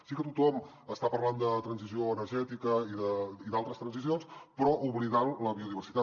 sí que tothom està parlant de transició energètica i d’altres transicions però oblidant la biodiversitat